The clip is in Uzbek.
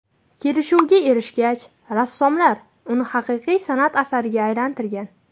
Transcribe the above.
Kelishuvga erishgach, rassomlar uni haqiqiy san’at asariga aylantirgan.